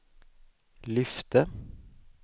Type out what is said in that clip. lyfte